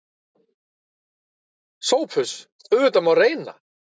SOPHUS: Auðvitað má reyna.